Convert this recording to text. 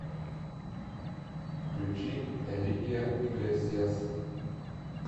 включи энрике иглесиас